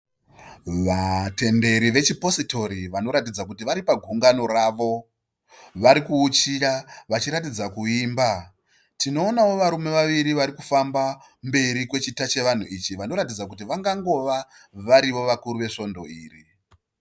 Vatenderi vechipositori vanoratidza kuti vari pagungano ravo. Varikuwuchira vachiratidza kuimba. Tinoonawo varume vaviri varikufamba mberi kwechita chevanhu ichi vanoratidza kuti vangangova varivo vakuru vesvondo iri.